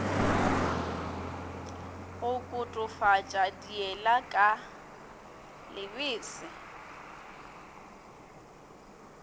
go kotofatša diela ka lebese